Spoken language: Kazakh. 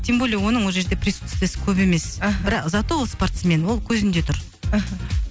тем более оның ол жерде присутствиесі көп емес аха за то ол спортсмен ол көзінде тұр аха